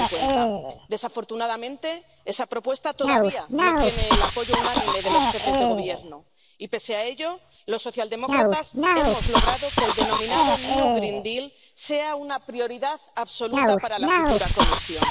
2050. Desafortunadamente, esa propuesta todavía no tiene el apoyo unánime de los jefes de gobierno y, pese a ello, los socialdemócratas hemos logrado que el denominado New Green Deal sea una prioridad absoluta para la futura Comisión.